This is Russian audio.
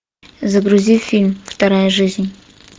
загрузи фильм вторая жизнь